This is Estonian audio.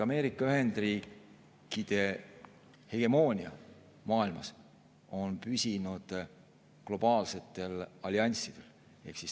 Ameerika Ühendriikide hegemoonia maailmas on püsinud globaalsetel allianssidel.